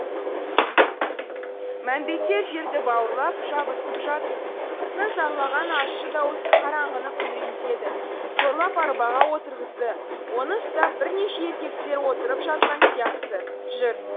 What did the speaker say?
мәмбеттер жерді бауырлап жабысып жатыр қыздың зарлаған ащы даусы қараңғыны күңірентеді зорлап арбаға отырғызды оны ұстап бірнеше еркектер отырып жатқан сияқты жүр